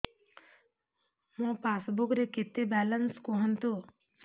ମୋ ପାସବୁକ୍ ରେ କେତେ ବାଲାନ୍ସ କୁହନ୍ତୁ